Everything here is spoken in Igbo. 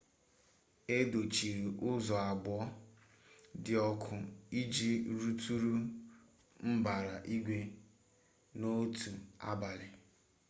e dochiri ụzọ abụọ dị ọkụ iji rụtụrụ mbara igwe n'otu abalị